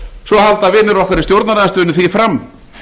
svo halda vinir okkar í stjórnarandstöðunni því fram